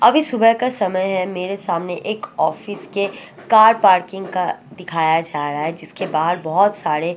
अभी सुबह का समय है मेरे सामने एक ऑफिस के कार पार्किंग का दिखाया जा रहा है जिसके बाहर बहुत सारे--